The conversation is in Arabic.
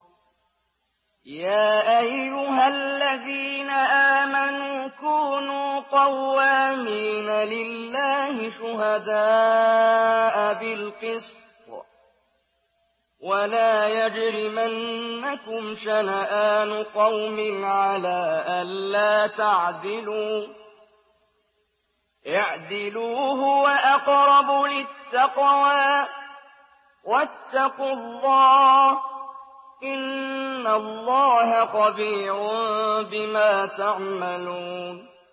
يَا أَيُّهَا الَّذِينَ آمَنُوا كُونُوا قَوَّامِينَ لِلَّهِ شُهَدَاءَ بِالْقِسْطِ ۖ وَلَا يَجْرِمَنَّكُمْ شَنَآنُ قَوْمٍ عَلَىٰ أَلَّا تَعْدِلُوا ۚ اعْدِلُوا هُوَ أَقْرَبُ لِلتَّقْوَىٰ ۖ وَاتَّقُوا اللَّهَ ۚ إِنَّ اللَّهَ خَبِيرٌ بِمَا تَعْمَلُونَ